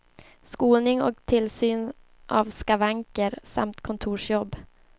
Skoning och tillsyn av skavanker samt kontorsjobb.